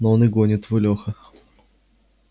ну он и гонит твой лёха